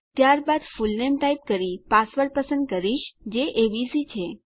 ત્યારબાદ full name type કરી password પસંદ કરીશ જે એબીસી છે